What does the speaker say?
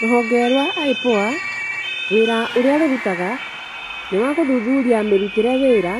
Rũhonge rwa IPOA, wĩra ũrĩa rũrutaga, nĩwagũthuthuria mĩrutĩre wĩra